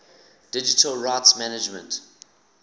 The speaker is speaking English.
digital rights management